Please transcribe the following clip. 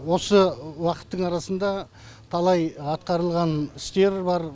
осы уақыттың арасында талай атқарылған істер бар